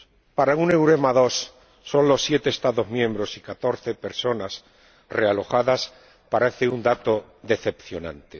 Para un EUREMA II, solo 7 Estados miembros y 14 personas realojadas parece un dato decepcionante.